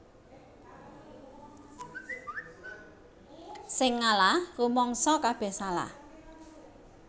Sing ngalah rumangsa kabeh salah